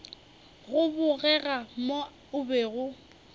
go bogega mo o bego